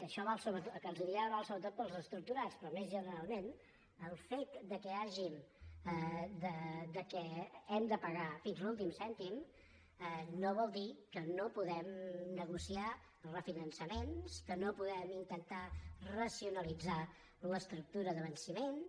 això el que els diré ara val sobretot per als estructurats però més generalment el fet que hàgim de pagar fins a l’últim cèntim no vol dir que no puguem negociar refinançaments que no puguem intentar racionalitzar l’estructura de venciments